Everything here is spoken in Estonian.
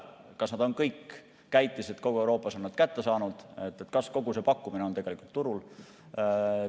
Kas kõik käitised kogu Euroopas on nad kätte saanud, kas kogu see pakkumine on tegelikult turul?